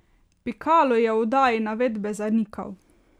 Pikalo je v oddaji navedbe zanikal.